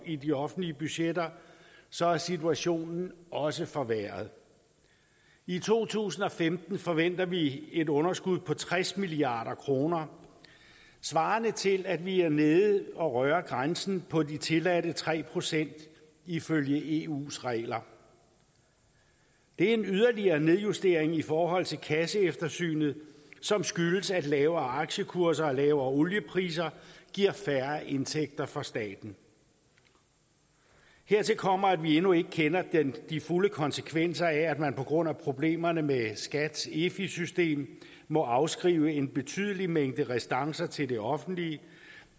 i de offentlige budgetter så er situationen også forværret i to tusind og femten forventer vi et underskud på tres milliard kroner svarende til at vi er nede at røre grænsen på de tilladte tre procent ifølge eus regler det er en yderligere nedjustering i forhold til kasseeftersynet som skyldes at lavere aktiekurser og lavere oliepriser giver færre indtægter for staten hertil kommer at vi endnu ikke kender de fulde konsekvenser af at man på grund af problemerne med skats efi system må afskrive en betydelig mængde restancer til det offentlige